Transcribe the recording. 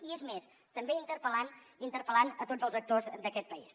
i és més també interpel·lant interpel·lant a tots els actors d’aquest país